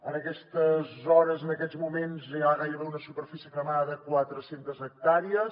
en aquestes hores en aquests moments hi ha gairebé una superfície cremada de quatre centes hectàrees